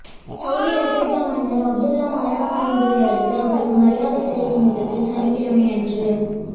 Saudi Arabia மன்னர் Abdullah மரணம் அடைந்தையடுத்து அவருக்கு மரியாதை செலுத்தும் விதத்தில் சனிக்கிழமையன்று